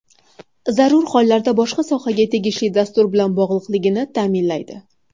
Zarur hollarda boshqa sohaga tegishli dastur bilan bog‘liqligini ta’minlaydi.